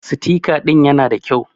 Sitika ɗin ƴana ɗa ƙyau.